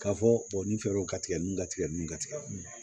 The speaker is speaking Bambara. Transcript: K'a fɔ nin feerew ka tigɛ ninnu ka tigɛ nun ka tigɛ